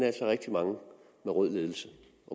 altså rigtig mange med rød ledelse